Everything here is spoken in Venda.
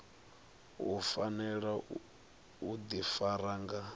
u fanela u ḓifara nga